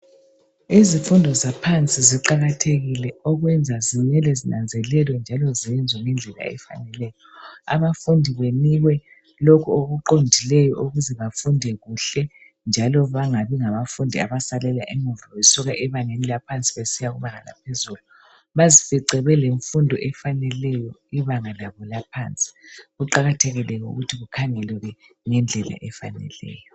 Izifundo zaphansi ziqakathekile okwenza zimele zinazelelwe njalo zenziwe ngendlela efaneleyo. Abafundi banikwe lokho okuqondileyo okuzabenza befunde kuhle njalo bangabi ngabafundi abasalela emuva besuka ebangeni laphansi besiya kubanga laphezulu. Bazifice belemfundo emfaneleyo kubanga labo la phansi. Kuqakathekile ke ukuthi kukhangelwe ngendlela efaneleyo.